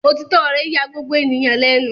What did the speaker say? Òtítọ́ rẹ̀ ya gbogbo ènìyàn lẹ́nu.